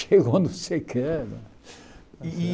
Chegou não sei o quê é e.